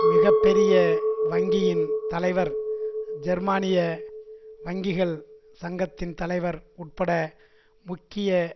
மிக பெரிய வங்கியின் தலைவர் ஜெர்மானிய வங்கிகள் சங்கத்தின் தலைவர் உட்பட முக்கிய